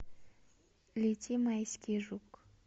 лети майский жук